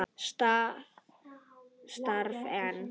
Það starfar enn.